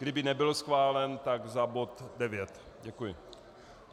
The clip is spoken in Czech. Kdyby nebyl schválen, tak za bod 9. Děkuji.